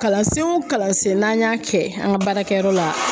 Kalansen o kalansen n'an y'a kɛ an ka baarakɛyɔrɔ la